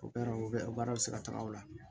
O baara o bɛ o baaraw bɛ se ka taga o la